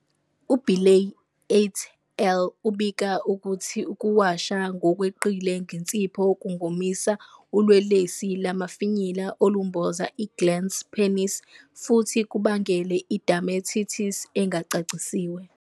UBirley "et al." ubika ukuthi ukuwasha ngokweqile ngensipho kungomisa ulwelwesi lamafinyila olumboza i-glans penis futhi kubangele i- dermatitis engacacisiwe.